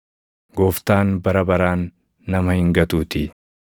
Gooftaan bara baraan nama hin gatuutii.